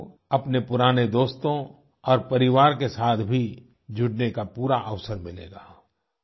आपको अपने पुराने दोस्तों और परिवार के साथ भी जुड़ने का पूरा अवसर मिलेगा